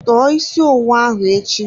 Tọọ isi owu ahụ echi!